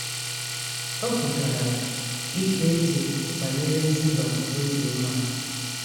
O kwetara ikpe eze banyere Ziba n’obi umeala.